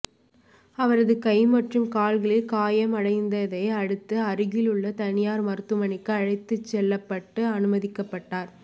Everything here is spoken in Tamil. அவரது கை மற்றும் கால்களில் காயம் அடைந்ததை அடுத்து அருகில் உள்ள தனியார் மருத்துவமனைக்கு அழைத்துச் செல்லப்பட்டு அனுமதிக்கப்பட்டார்